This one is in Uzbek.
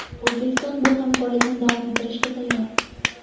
O‘zbekiston bu hamkorlikni davom ettirishga tayyor.